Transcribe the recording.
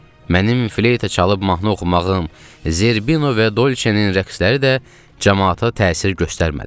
Mənim fleyta çalıb mahnı oxumağım, Zərbino və Dolçanın rəqsləri də camaata təsir göstərmədi.